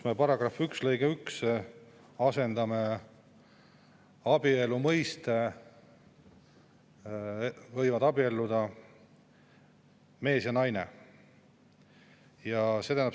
Me § 1 lõikes 1 asendame abielu mõiste, võivad abielluda mees ja naine.